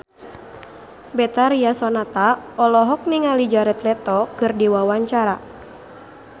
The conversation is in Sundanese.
Betharia Sonata olohok ningali Jared Leto keur diwawancara